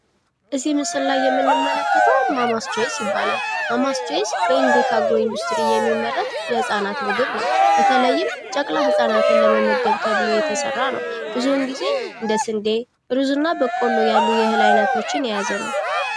ከዚህ ምስል የምንመለከተው "ማማስ ቾይስ" ይባላል። ማማስ ቾይስ በእንዱሪጋጎሪ የሚመረት የህጻናት ምግብ ነው። ብዙዉን ግዜ እንደ ስንዴ፣ ገብስ በቆሎ የያዘ ነው።